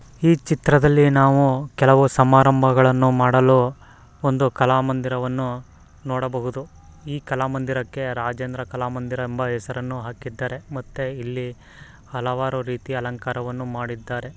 ಈ ಚಿತ್ರದಲ್ಲಿ ನಾವು ಕೆಲವು ಸಮಾರಂಭಗಳನ್ನೂ ಮಾಡಲು ಒಂದು ಕಲಾ ಮಂದಿರವನ್ನು ನೋಡಬಹುದು. ಈ ಕಲಮಂದಿರ ಕೆ ರಾಜೇಂದ್ರ ಕಲಮಂದಿರ ಎಂಬ ಹೆಸರನ್ನು ಹಾಕಿದ್ದಾರೆ. ಮತ್ತೆ ಇಲ್ಲಿ ಹಲವಾರು ರೀತಿಯ ಅಲಂಕಾರವನ್ನು ಮಾಡಿದರೆ.